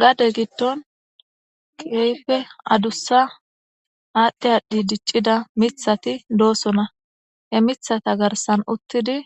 Gade gidon kehippe adusa adhi adhi dicida mitati dosona he mitata garisan utidi